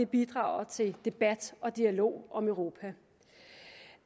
bidrager til debat og dialog om europa